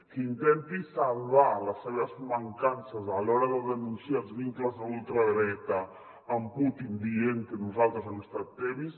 que intenti salvar les seves mancances a l’hora de denunciar els vin·cles de la ultradreta amb putin dient que nosaltres hem estat tebis